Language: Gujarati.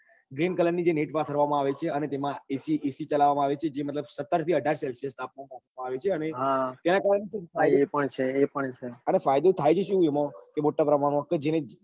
બ green કલર ની જે નેટ પાથરવા માં આવે છે અને એમાં દેસી હળ ચલાવવા માં આવે છે જે મતલબ સત્તર થી અઢાર celsius તાપમાન માં રાખવા માં આવે છે અને તેના કારણે અને ફાયદો થાય છે શું એમાં